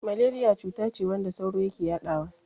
Maleriya cutace wadda sauro yake yadawa.